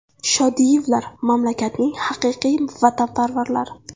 Shodiyevlar mamlakatning haqiqiy vatanparvarlari.